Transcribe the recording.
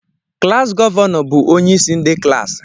Klassi gọvanọ bụ onyeisi ndị klaasị